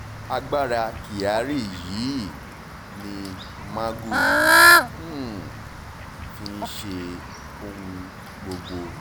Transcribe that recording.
agbára kyari yìí ni magu um fi ń ṣe ohun gbogbo